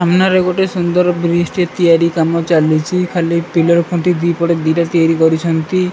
ସାମ୍ନାରେ ଗୋଟେ ସୁନ୍ଦର ବ୍ରିଜ ଟେ ତିଆରି କାମ ଚାଲିଚି ଖାଲି ପିଲର ଖୁଣ୍ଟି ଦିପଟେ ଦିଟା ତିଆରି କରିଛନ୍ତି।